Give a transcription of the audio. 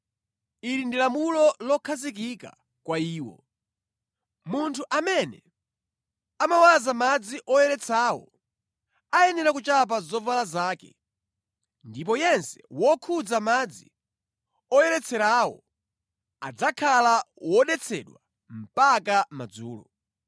Ili ndi lamulo lokhazikika kwa iwo. “Munthu amene amawaza madzi oyeretsawo ayenera kuchapa zovala zake ndipo yense wokhudza madzi oyeretserawo adzakhala wodetsedwa mpaka madzulo.